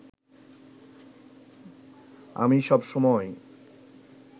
আমি সব সময়